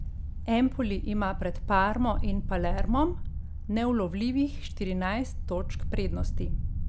Empoli ima pred Parmo in Palermom neulovljivih štirinajst točk prednosti ...